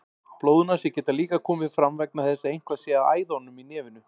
Blóðnasir geta líka komið fram vegna þess að eitthvað sé að æðunum í nefinu.